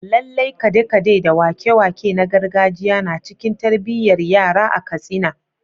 Lallai kade-kade da wake-wake na gargajiya na cikin tarbiyyar yara a Katsina.